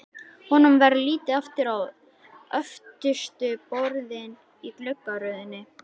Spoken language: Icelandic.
Honum verður litið aftur á öftustu borðin í gluggaröðinni.